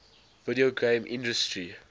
video game industry